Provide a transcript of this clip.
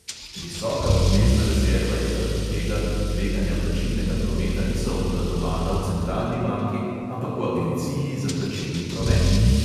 Visoka obvezna rezerva je zaradi tega, ker tveganja plačilnega prometa niso obvladovana v centralni banki, ampak v agenciji za plačilni promet.